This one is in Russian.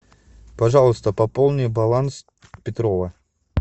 пожалуйста пополни баланс петрова